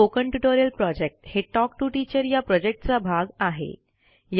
spoken tutorial project हे talk to teacher या प्रॉजेक्टचा भाग आहे